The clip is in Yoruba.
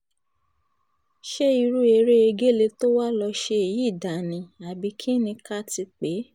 ṣé irú eré egéle tó wàá lọ́ọ́ ṣe yìí dáa ni àbí kín ni ká ti pè é